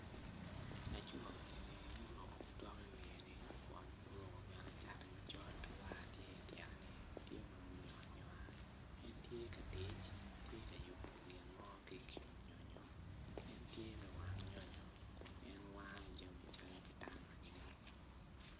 Laco eni ma oruko otok i wiye kun bene oruko bongo macol kun bene war tye u tyene tye ma onyongo anyonga gitye ka tic gitye ka yubo nyonyo en tye lawang nyonyo kun en wango jami mogo calo kitanda.